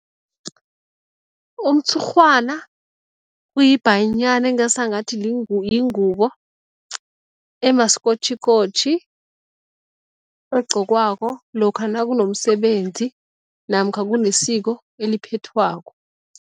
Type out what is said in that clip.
Umtshurhwana kuyibhayinyana engasangathi yingubo emasikotjhikotjhi, egqokiwako lokha nakunomsebenzi namkha kunesiko eliphethwako.